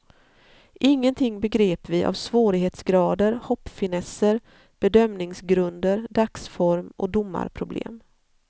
Ingenting begrep vi av svårighetsgrader, hoppfinesser, bedömningsgrunder, dagsform och domarproblem.